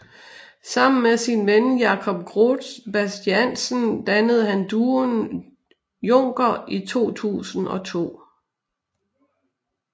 Sammen med sin ven Jakob Groth Bastiansen dannede han duoen Juncker i 2002